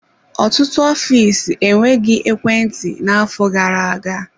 Ọtụtụ ọfịs enweghị ekwentị na-afọ gara-aga.